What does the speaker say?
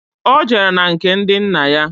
Ọ jere na nke ndị nna ya